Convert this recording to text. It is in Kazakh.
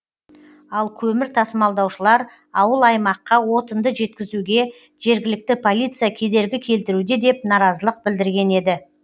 ал көмір тасымалдаушылар ауыл аймаққа отынды жеткізуге жергілікті полиция кедергі келтіруде деп наразылық білдірген еді